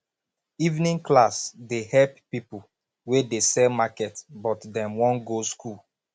evening class dey help pipo wey dey sell market but dem wan go skool